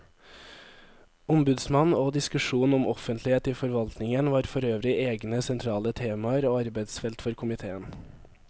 Ombudsmannen og diskusjonen om offentlighet i forvaltningen var forøvrig egne sentrale temaer og arbeidsfelt for komiteen.